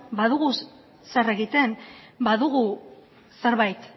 badugu zer egiten badugu zerbait